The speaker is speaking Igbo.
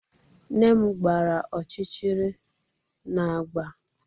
Nne m gbara ọchịchịrị na agba